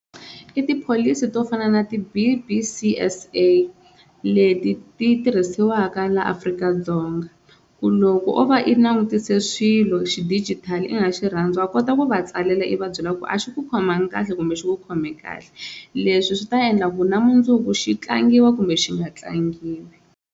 I tipholisi to fana na ti-B_B_C_S_A leti ti tirhisiwaka la Afrika-Dzonga ku loko o va i langutise swilo xi digital i nga xi rhandzi wa va kota ku va tsalela i va byela ku a xi ku khomangi kahle kumbe xi ku khome kahle leswi swi ta endla ku na mundzuku xi tlangiwa kumbe xi nga tlangiwi.